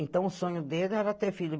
Então o sonho dele era ter filho.